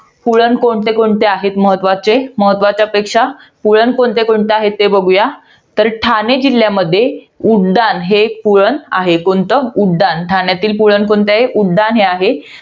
पुळण कोणते कोणते आहेत महत्वाचे. महत्वाच्या पेक्षा पुळण कोणते कोणते आहेत ते बघूया. तर ठाणे जिल्ह्यामध्ये उड्डाण हे एक पुळण आहे. ठाण्यातील पुळण कोणतं आहे? उड्डाण हे आहे.